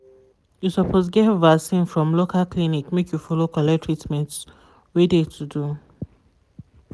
you suppose get vaccin from loca clinic make you follow collect treatment wey de to do.